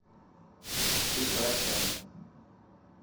петросян